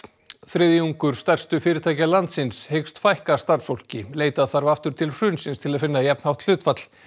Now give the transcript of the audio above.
þriðjungur stærstu fyrirtækja landsins hyggst fækka starfsfólki leita þarf aftur til hrunsins til að finna jafnhátt hlutfall